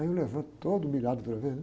Aí eu levanto todo humilhado para ver, né?